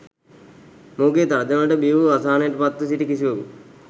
මොහුගේ තර්ජනවලට බියවූ අසහනයට පත්ව සිටි කිසිවකු